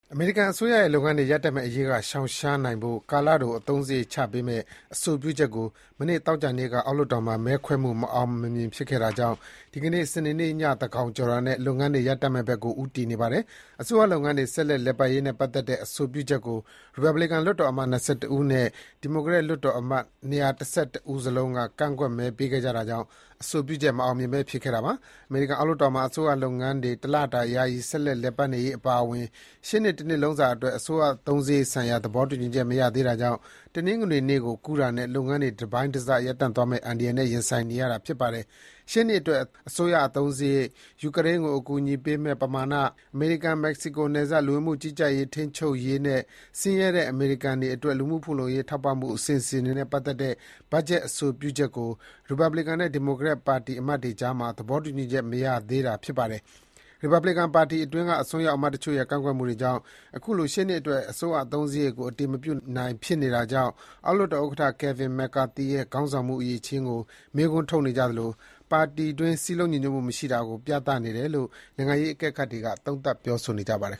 အမေရိကန်အစိုးရရဲ့လုပ်ငန်းတွေ ရပ်တန့်မယ့်အရေးက ရှောင်ရှားနိုင်ဖို့ ကာလတို အသုံးစားရိတ်ချပေးမယ့် အဆိုပြုချက်ကို မနေ့ သောကြာနေ့ညက အောက်လွတ်တော်မှာ မဲခွဲမှု မအောင်မြင်ခဲ့တာကြောင့် ဒီကနေ့ စနေနေ့ညသန်းခေါင်ကျော်တာနဲ့ လုပ်ငန်းတွေ ရပ်တန့်မယ့်ဘက်ကို ဦးတည်နေပါတယ်။ အစိုးရလုပ်ငန်းတွေ ဆက်လက် လည်ပတ်ရေးနဲ့ပတ်သက်တဲ့ အဆိုပြုချက်ကို ရီပတ်ဘလီကန် လွတ်တော်အမတ် ၂၁ ဦးနဲ့ ဒီမိုကရက်လွတ်တော်အမတ် ၂၁၁ ဦးစလုံးက ကန့်ကွက်မဲပေးခဲ့တာကြောင့် အဆိုပြုချက် မအောင်မြင်ဘဲ ဖြစ်ခဲ့တာပါ။ အမေရိကန်အောက်လွှတ်တော်မှာ အစိုးရလုပ်ငန်းတွေ တလတာ ယာယီ ဆက်လက် လည်ပတ်နေရေးအပါအဝင် ရှေ့နှစ် တနှစ်လုံးစာအတွက် အစိုးရအသုံးစားရိတ်ဆိုင်ရာ သဘောတူညီချက် မရရှိနိုင်သေးတာကြောင့် တနင်္ဂနွေနေ့ကို ကူးတာနဲ့ လုပ်ငန်းတွေ တစ်ပိုင်းတစ်စ ရပ်တန့်သွားမယ့် အန္တရာယ်နဲ့ ရင်ဆိုင်နေရတာပါ။ ရှေ့နှစ်အတွက် အစိုးရအသုံးစားရိတ်၊ ယူကရိန်းကို အကူအညီပေးမယ့် ပမာဏ၊ အမေရိကန် မက္ကဆီကို နယ်စပ် လူဝင်မှု ကြီးကြပ်မှု ထိန်းချုပ်ရေးနဲ့ ဆင်းရဲတဲ့ အမေရိကန်တွေအတွက် လူမှုဖူလုံရေး ထောက်ပံ့မှု အစီအစဥ်တွေနဲ့ ပတ်သက်တဲ့ ဘတ်ဂျက် အဆိုပြုချက်ကို ရီပါဘလီကန် နဲ့ ဒီမိုကရက် ပါတီအမတ်တွေကြားမှာ သဘောတူညီချက် မရရှိသေးတာပါ။ ရီပတ်ဘလီကန်ပါတီအတွင်းက အစွန်းရောက် အမတ်တချို့ရဲ့ ကန့်ကွက်မှုတွေကြောင့် အခုလို ရှေ့နှစ်အတွက် အစိုးရအသုံးစားရိတ်ကို အတည်မပြုနိုင် ဖြစ်နေတာကြောင့် အောက်လွတ်တော်ဥက္ကဋ္ဌ Kevin McCarthy ရဲ့ ခေါင်းဆောင်မှုအရည်အချင်းကို မေးခွန်းထုတ်နေကြသလို ပါတီတွင်း စည်းလုံးညီညွတ်မှုမရှိတာကို ပြသနေတယ်လို့ နိုင်ငံရေးအကဲခတ်တွေက သုံးသပ် ပြောဆိုနေကြပါတယ်